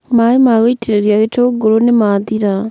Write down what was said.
maĩ ma gũitĩrĩrĩa gĩtũngũrũ nĩ mathira.